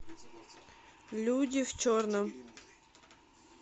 люди в черном